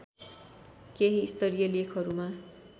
केही स्तरीय लेखहरूमा